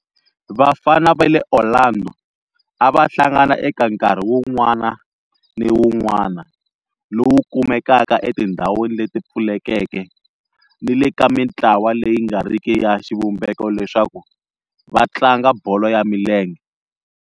Vafana va le Orlando a va hlangana eka nkarhi wun'wana ni wun'wana lowu kumekaka etindhawini leti pfulekeke ni le ka mintlawa leyi nga riki ya xivumbeko leswaku va tlanga bolo ya milenge.